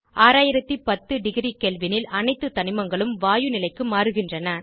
6010 degree kelvin ல் அனைத்து தனிமங்களும் வாயு நிலைக்கு மாறுகின்றன